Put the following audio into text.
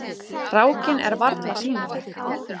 Rákin er varla sýnileg.